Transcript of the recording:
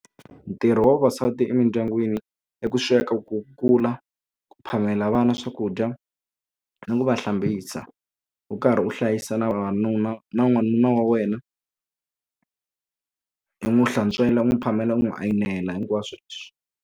Ntirho wa vavasati emindyangwini i ku sweka ku kula ku phamela vana swakudya ni ku va hlambisa u karhi u hlayisa na vavanuna na n'wanuna wa wena u n'wi hlantswela u n'wi phamela u n'wi a yimela hinkwaswo leswi.